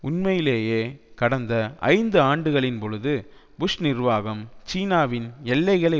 உண்மையிலேயே கடந்த ஐந்து ஆண்டுகளின்பொழுது புஷ் நிர்வாகம் சீனாவின் எல்லைகளை